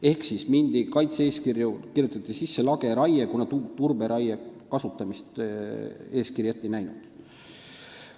Ehk kaitse-eeskirja kirjutati sisse lageraie, kuna turberaie kasutamist eeskiri ette ei näinud.